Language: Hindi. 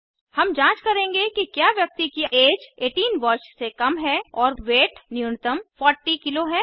हम जांच करेंगे कि क्या व्यक्ति की ऐज 18 वर्ष से कम है और वेट न्यूनतम 40 केजी है